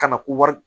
Ka na ko wari